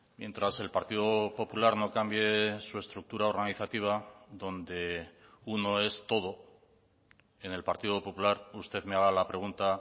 mientras el partido popular no cambie su estructura organizativa donde uno es todo en el partido popular usted me haga la pregunta